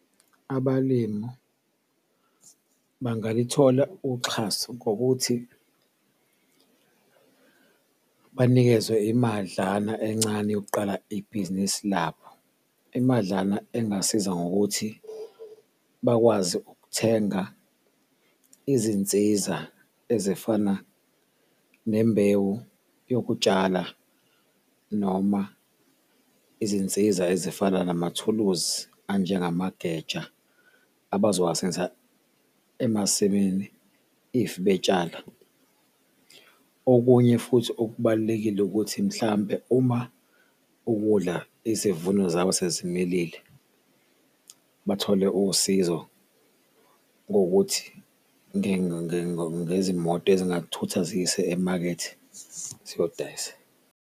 Abalimu bangalithola uxhaso ngokuthi banikezwe imadlana encane yokuqala ibhizinisi labo, imadlana engasiza ngokuthi bakwazi ukuthenga izinsiza ezifana nembewu yokutshala noma izinsiza ezifana namathuluzi anjengamageja abazowasebenzisa emasimini if betshala. Okunye futhi okubalulekile ukuthi mhlampe uma ukudla, izivuno zabo sezimilile bathole usizo kuwukuthi ngezimoto ezingakuthutha zikuyise emakethe ziyodayisa.